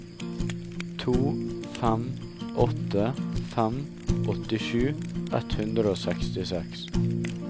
to fem åtte fem åttisju ett hundre og sekstiseks